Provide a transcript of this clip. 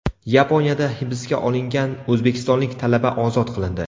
Yaponiyada hibsga olingan o‘zbekistonlik talaba ozod qilindi.